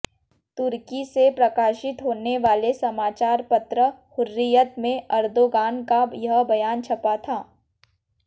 तुर्की से प्रकाशित होने वाले समाचार पत्र हुर्रियत में अर्दोग़ान का यह बयान छपा था